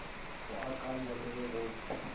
go akanywa le ge go